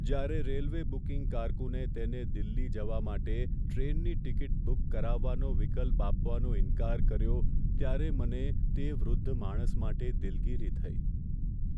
જ્યારે railway booking કારકુને તેને દિલ્હી જવા માટે ટ્રેનની ટિકિટ બુક કરાવવાનો વિકલ્પ આપવાનો ઇન્કાર કર્યો ત્યારે મને તે વૃદ્ધ માણસ માટે દિલગીરી થઈ.